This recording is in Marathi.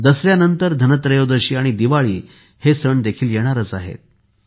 दसऱ्यानंतर धनत्रयोदशी आणि दिवाळी हे सण देखील येणार आहेत